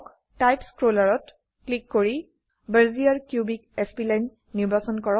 type স্ক্ৰোলাৰত click কৰি Bezier cubic spline নিৰ্বাচন কৰক